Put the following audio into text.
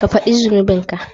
Ka fadi zunubinka.